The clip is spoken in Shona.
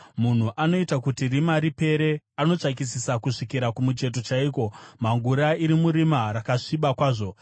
Munhu anoita kuti rima ripere; anotsvakisisa kusvikira kumucheto chaiko, mhangura iri murima rakasviba kwazvo.